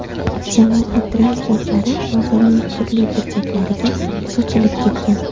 Jamoat transportlari bozorning turli burchaklariga sochilib ketgan.